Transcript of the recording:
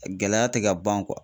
Gɛlɛya tɛ ka ban